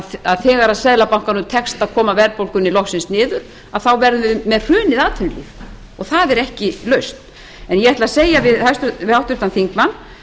því að þegar að seðlabankanum tekst að koma verðbólgunni loksins niður að þá verði hrun í atvinnulífinu það er ekki lausn en ég ætla að segja við háttvirtan þingmann